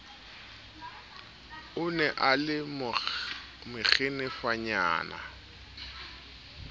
o ne a le makgenefanyana